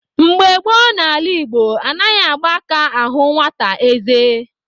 Mgbe gboo n'ala Igbo, anaghị agba aka ahụ nwata eze.